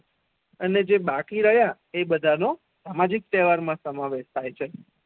અને જે બાકી રહયા એ બેધા નો સ્થાનિક તેહવાર મા સેમાવેશ થાય છે.